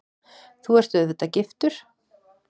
Þú ert auðvitað giftur?